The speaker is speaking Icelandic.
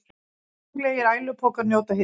Konunglegir ælupokar njóta hylli